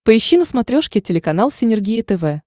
поищи на смотрешке телеканал синергия тв